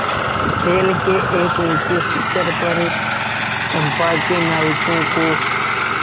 शैल के एक ऊँचे शिखर पर चंपा के नाविकों को